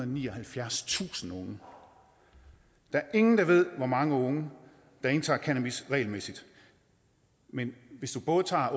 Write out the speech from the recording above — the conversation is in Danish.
nioghalvfjerdstusind unge der er ingen der ved hvor mange unge der indtager cannabis regelmæssigt men hvis vi både tager